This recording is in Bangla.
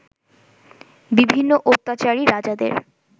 বিভিন্ন অত্যাচারী রাজাদের